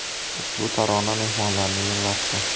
Ushbu tarona mehmonlarni yig‘latdi.